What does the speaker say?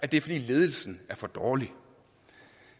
det er fordi ledelsen er for dårlig